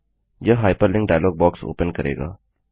यह hyperlink dialog box open करेगा